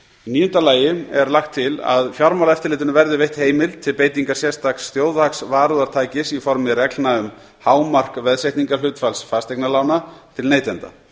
níunda lagt er til að fjármálaeftirlitinu verði veitt heimild til beitingar sérstaks þjóðhagsvarúðartækis í formi reglna um hámark veðsetningarhlutfalls fasteignalána til neytenda